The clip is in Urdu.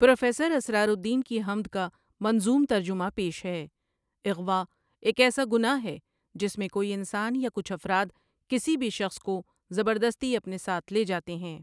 پروفیسر اسرارالدین کی حمد کا منظوم ترجمہ پیش ہے اغوا ایک ایسا گناہ ہے جس میں کوئی انسان یا کچھ افراد کسی بھی شخص کو زبردستی اپنے ساتھ لے جاتے ہیں